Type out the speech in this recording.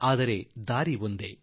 ಆದರೆ ದಾರಿಯೊಂದೆ